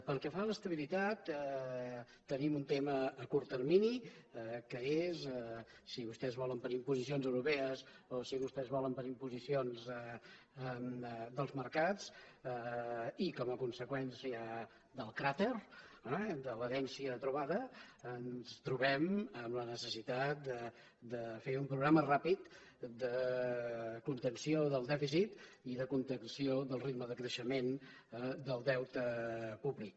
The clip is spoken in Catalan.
pel que fa a l’estabilitat tenim un tema a curt termini que és que si vostès volen per imposicions europees o si vostès volen per imposicions dels mercats i com a conseqüència del cràter eh de l’herència trobada ens trobem amb la necessitat de fer un programa ràpid de contenció del dèficit i de contenció del ritme de creixement del deute públic